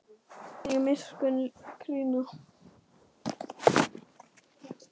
Hann mun þig miskunn krýna.